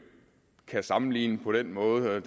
kan sammenligne på den måde det